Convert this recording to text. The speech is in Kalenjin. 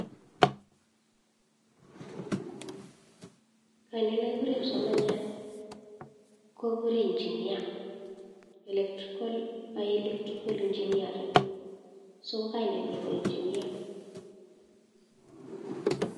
en kainet keguren kipsomaniat kikuren inchinia ak electrical engineering so kokanenyin ko engeneer